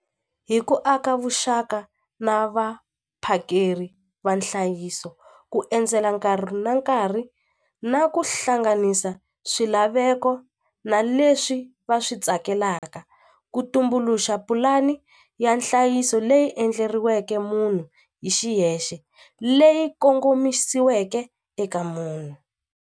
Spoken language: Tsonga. Hi ku aka vuxaka na vaphakeri va nhlayiso ku endzela nkarhi na nkarhi na ku hlanganisa swilaveko na leswi va swi tsakelaka ku tumbuluxa pulani ya nhlayiso leyi endleriweke munhu hi xiyexe leyi kongomisiweke eka munhu.